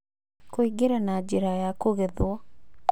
Kũingĩra na njĩra ya kũgethwo